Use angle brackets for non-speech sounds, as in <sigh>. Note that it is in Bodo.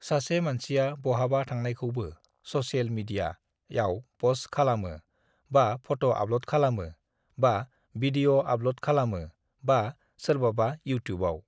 सासे मानसिआ बहाबा थांनायखौबो ससेल मिडिया (social) आव फस्ट (post) खालामो बा फट' आपल'ड खालामो बा बिडिय' <video> आपल'ड (upload) खालामो बा सोरबाबा इउटियुबबाव (YouTube) (incoplete sentence)